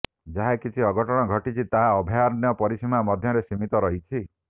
ଯାହା କିଛି ଅଘଟଣ ଘଟିଛି ତାହା ଅଭୟାରଣ୍ୟ ପରିସୀମା ମଧ୍ୟରେ ସୀମିତ ରହିଛି